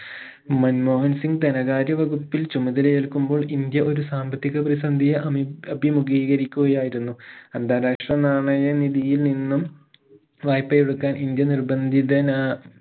മൻമോഹൻ സിംഗ് ധനകാര്യ വകുപ്പിൽ ചുമതലയേൽക്കുമ്പോൾ ഇന്ത്യ ഒരു സാമ്പത്തിക പ്രതിസന്ധിയെ അമി അഭിമുകീകരിക്കുകയായിരുന്നു അന്താരാഷ്ട്രാ നാണയ നിധിയിൽ നിന്നും വായ്പ എടുക്കൻ ഇന്ത്യ നിർബന്ധിതനാ